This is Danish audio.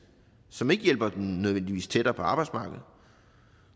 som ikke nødvendigvis tættere på arbejdsmarkedet